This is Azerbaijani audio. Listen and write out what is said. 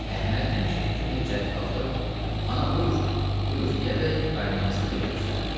Əhməd həmişəki kimi cəld qalxıb, “Ana, buyur, buyur” deyərək qaynanasına yer göstərdi.